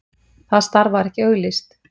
Það starf var ekki auglýst.